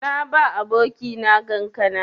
Na ba abokina kankana.